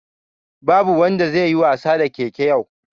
Babu wanda zai yi wasa da keke yau